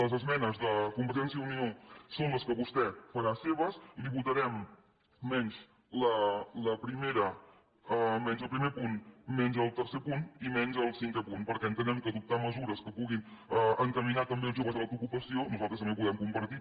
les esmenes de convergència i unió són les que vostè farà seves la hi votarem menys el primer punt menys el tercer punt i menys el cinquè punt perquè entenem que adoptar mesures que puguin encaminar també els joves a l’autoocupació nosaltres també ho podem compartir